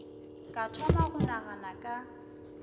ka thoma go nagana ka